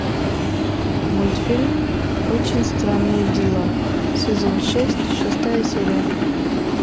мультфильм очень странные дела сезон шесть шестая серия